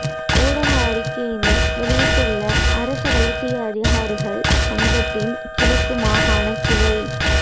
ஊடக அறிக்கையினை வெளியிட்டுள்ள அரச வைத்திய அதிகாரிகள் சங்கத்தின் கிழக்கு மாகாண கிளை